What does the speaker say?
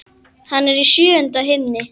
Hann er í sjöunda himni.